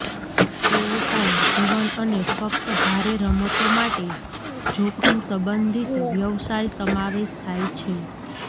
તેઓ પણ જીવન અને ફક્ત ભારે રમતો માટે જોખમ સંબંધિત વ્યવસાય સમાવેશ થાય છે